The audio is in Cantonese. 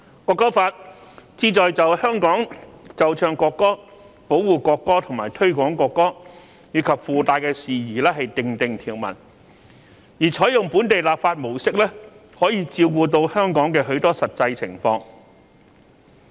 《條例草案》旨在就在香港奏唱國歌、保護國歌和推廣國歌，以及附帶的事宜訂定條文，而採用本地立法模式，可以照顧到香港的許多實際情況。